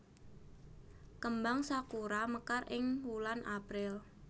Kembang sakura mekar ing wulan April